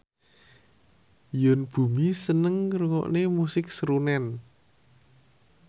Yoon Bomi seneng ngrungokne musik srunen